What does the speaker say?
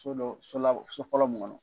So dɔ so la , so kala mun kɔnɔ.